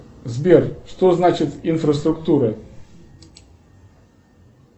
сбер что значит инфраструктура